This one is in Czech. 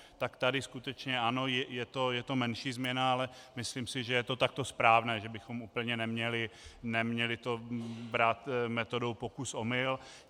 Tak tady skutečně ano, je to menší změna, ale myslím si, že je to takto správné, že bychom úplně neměli to brát metodou pokus - omyl.